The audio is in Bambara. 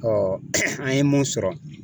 an ye mun sɔrɔ.